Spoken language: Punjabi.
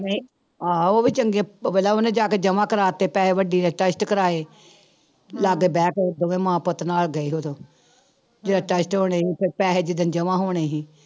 ਨਹੀਂ ਆਹੋ ਉਹ ਵੀ ਚੰਗੇ ਪਹਿਲਾਂ ਉਹਨੇ ਜਾ ਕੇ ਜਮਾ ਕਰਵਾ ਦਿੱਤੇ ਪੈਸੇ ਵੱਡੀ ਨੇ test ਕਰਵਾਏ, ਲਾਗੇ ਬਹਿ ਕੇ ਦੋਵੇਂ ਮਾਂ ਪੁੱਤ ਨਾਲ ਗਏ ਉਦੋਂ ਜਦ test ਹੋਣੇ ਸੀ ਫਿਰ ਪੈਸੇ ਜਿੱਦਣ ਜਮਾਂ ਹੋਣੇ ਸੀ।